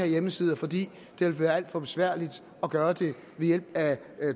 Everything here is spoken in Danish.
hjemmesider fordi det vil være alt for besværligt at gøre det ved hjælp af